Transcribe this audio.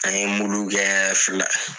An ye muluw kɛ fila